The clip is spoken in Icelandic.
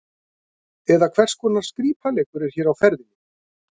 Eða hvers konar skrípaleikur er hér á ferðinni?